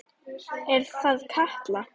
Er það Katla?